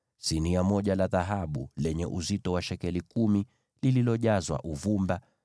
sinia moja la dhahabu lenye uzito wa shekeli kumi, likiwa limejazwa uvumba;